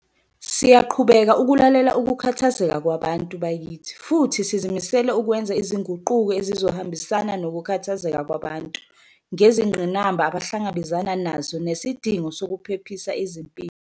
Siyaqhubeka ukulalela ukukhathazeka kwabantu bakithi futhi sizimisele ukwenza izinguquko ezizohambisana nokukhathazeka kwabantu ngezingqinamba abahlangabezana nazo nesidingo sokuphephisa izimpilo.